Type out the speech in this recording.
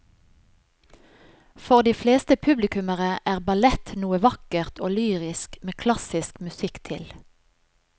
For de fleste publikummere er ballett noe vakkert og lyrisk med klassisk musikk til.